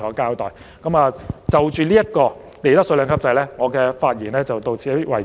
我就利得稅兩級制安排的發言到此為止。